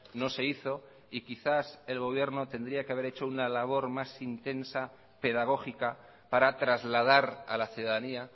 no se hizo y quizás el gobierno tendría que haber hecho una labor más intensa pedagógica para trasladar a la ciudadanía